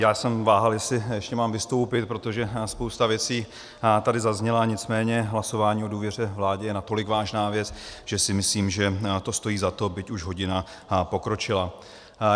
Já jsem váhal, jestli ještě mám vystoupit, protože spousta věcí tady zazněla, nicméně hlasování o důvěře vládě je natolik vážná věc, že si myslím, že to stojí za to, byť už hodina pokročila.